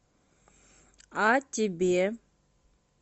а тебе